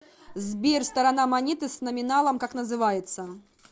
сбер сторона монеты с номиналом как называется